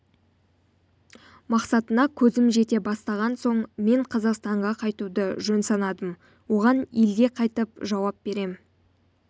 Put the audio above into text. мақсатына көзім жете бастаған соң мен қазақстанға қайтуды жөн санадым оған елге қайтып жауап берем